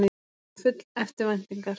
Ég var full eftirvæntingar.